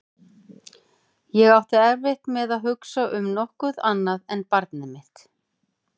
Ég átti erfitt með að hugsa um nokkuð annað en barnið mitt.